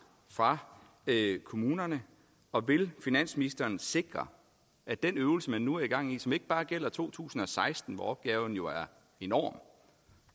fra kommunerne og vil finansministeren sikre at den øvelse man nu har gang i som ikke bare gælder to tusind og seksten hvor opgaven jo er enorm